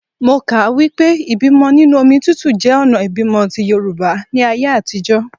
Mo kà á wípé ìbímọ nínú omi tútù jẹ́ ọ̀nà ìbímọ ti Yorùbá ní ayé àtijọ́.